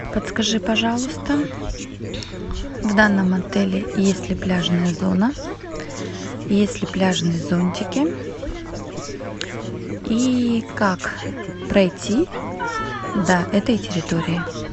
подскажи пожалуйста в данном отеле есть ли пляжная зона есть ли пляжные зонтики и как пройти до этой территории